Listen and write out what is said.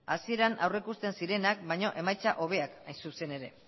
hasieran aurrikusten zirenak baino emaitza hobeak hain zuzen ere